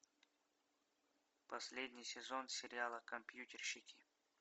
последний сезон сериала компьютерщики